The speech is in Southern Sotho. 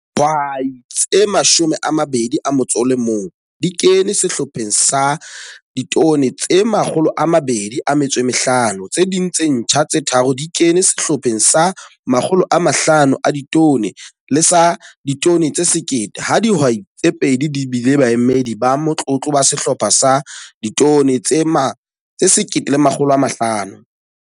Dihwai tse 21 di kene Sehlopheng sa 250 Ton, tse ding tse ntjha tse tharo di kene Sehlopheng sa 500 Ton le sa 1 000 Ton, ha dihwai tse pedi di bile baemedi ba motlotlo ba Sehlopha sa 1 500 Ton.